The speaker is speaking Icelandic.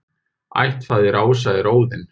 Ættfaðir ása er Óðinn.